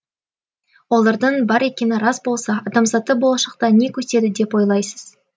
олардың бар екені рас болса адамзатты болашақта не күтеді деп ойлайсыз